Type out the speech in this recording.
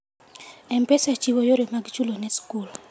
M-Pesa chiwo yore mag chulo ne skul.